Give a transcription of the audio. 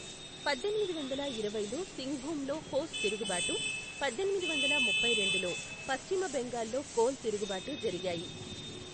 పద్దెనిమిది వందల ఇరవైలో సింగ్భూంలో హోస్ తిరుగుబాటు, పద్దెనిమిది వందల ముప్పై రెండులో పశ్చిమ బెంగాల్లో కోల్ తిరుగుబాటు జరిగాయి.